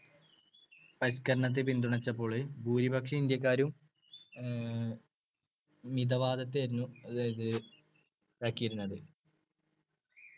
പരിഷ്‌ക്കരണത്തെ പിന്തുണച്ചപ്പോള് ഭൂരിപക്ഷം ഇന്ത്യക്കാരും അഹ് മിതവാദത്തെയായിരുന്നു അതായത് ആകിയിരുന്നത്